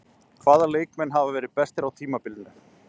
Hvaða leikmenn hafa verið bestir á tímabilinu?